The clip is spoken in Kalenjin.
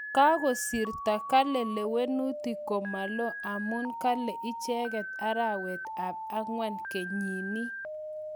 kakesirto kele lewenutik komakoloo amu kale icheket arawet ap angwan kenyini